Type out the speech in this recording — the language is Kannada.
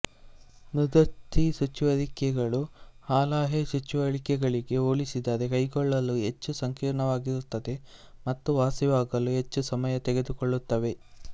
ಮೃದ್ವಸ್ಥಿ ಚುಚ್ಚುವಿಕೆಗಳು ಹಾಲೆಯ ಚುಚ್ಚುವಿಕೆಗಳಿಗೆ ಹೋಲಿಸಿದರೆ ಕೈಗೊಳ್ಳಲು ಹೆಚ್ಚು ಸಂಕೀರ್ಣವಾಗಿರುತ್ತವೆ ಮತ್ತು ವಾಸಿಯಾಗಲು ಹೆಚ್ಚು ಸಮಯ ತೆಗೆದುಕೊಳ್ಳುತ್ತವೆ